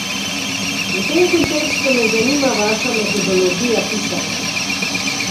V tem kontekstu me zanima vaša metodologija pisanja.